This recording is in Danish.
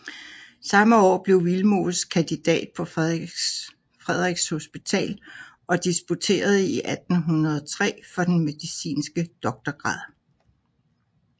Samme år blev Willemoes kandidat på Frederiks Hospital og disputerede i 1803 for den medicinske doktorgrad